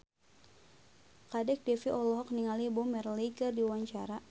Kadek Devi olohok ningali Bob Marley keur diwawancara